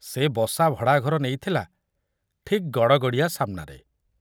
ସେ ବସା ଭଡ଼ାଘର ନେଇଥିଲା ଠିକ ଗଡ଼ଗଡ଼ିଆ ସାମନାରେ।